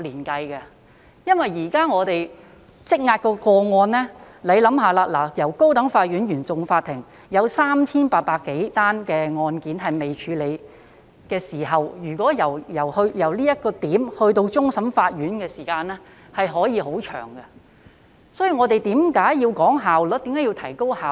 大家試想，現時我們積壓的個案，高等法院原訟法庭有 3,800 多宗未處理的案件，由這點至終審法院的時間可以很長，這就是為何我們要提高效率。